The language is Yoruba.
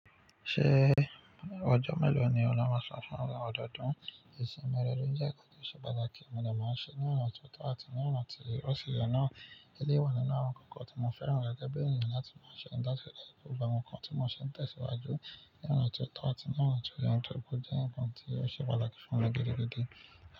Ṣé ọjọ́ mélòó ni o lo máa san fún ọdọọdún? Ìsinmi rẹ dún jẹ́ kí ó tó ṣe bàjẹ́ kí ọmọ náà má ṣe ní ọ̀nà tó tọ́ àti ní ọ̀nà tí ó ṣe èyàn náà. Eléyìí wà nínú àwọn nǹkan kan tí mo fẹ́ràn gẹ́gẹ́ bí ènìyàn láti máa ṣe látilẹ̀. Gbogbo àwọn nǹkan tí mo ṣì ń tẹ̀síwájú ní ọ̀nà tí ó tọ́ àti ní ọ̀nà tí ó yẹ torí pó jẹ́ nǹkan tí ó ṣe pàtàkì fún mi gidigidi.